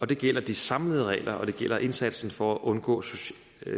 det gælder de samlede regler og det gælder indsatsen for at undgå